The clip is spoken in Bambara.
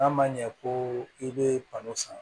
N'a ma ɲɛ ko i bɛ balo san